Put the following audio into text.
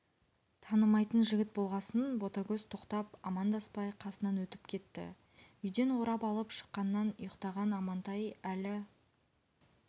танымайтын жігіт болғасын ботагөз тоқтап амандаспай қасынан өтіп кетті үйден орап алып шыққаннан ұйықтаған амантай әлі